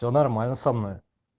все нормально со мной